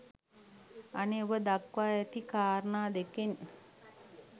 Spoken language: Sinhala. අනේ ඔබ දක්වා ඇති කාරණා දෙකෙන්